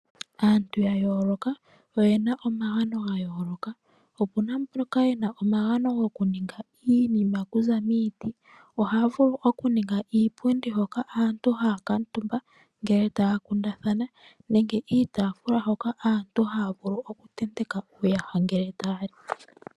Aantu ya yooloka oyena omagano ga yooloka opuna mboka yena omagano goku ninga iinima okuza miiti. Ohaya vulu oku ninga iipundi hoka aantu haya kuuntumba ngele taya kundathana nenge iitafula hoka aantu haya vulu oku tenteka uuyaha ngele taya li.